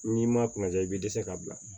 N'i ma kunnaja i bi dɛsɛ k'a bila